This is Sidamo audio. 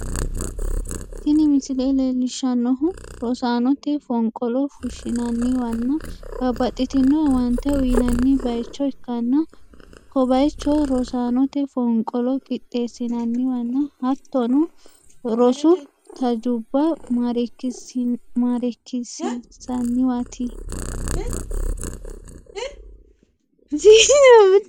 Tini misile leellishshannohu rosaanote fonqolo fushshinanniwanna bababxxitino owaante uyinanni bayicho ikkanna, ko bayicho rosaanote fonqolo qixxeessinanniwanna hattono rosu tajubba mareekisiisanniwaati.